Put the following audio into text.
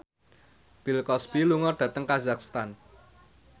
Bill Cosby lunga dhateng kazakhstan